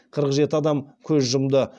қырық жеті адам көз жұмды